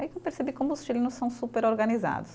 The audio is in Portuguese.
Aí que eu percebi como os chilenos são super organizados.